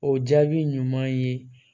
O jaabi ɲuman ye